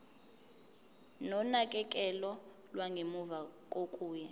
nonakekelo lwangemuva kokuya